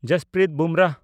Jasprit Bumrah